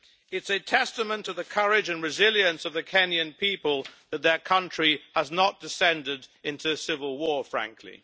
It is a testament to the courage and resilience of the Kenyan people that their country has not descended into civil war, frankly.